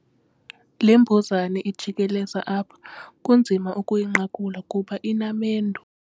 Le mbuzane ijikeleza apha kunzima ukuyinqakula kuba inamendu.